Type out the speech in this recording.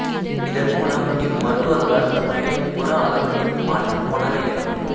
இதன் மூலம் இம்மருத்துவர்களால் நோயளியின் புற ஆளுமையில் மாற்றம் கொணர இயலும்